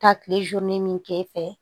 Taa kile min k'e fɛ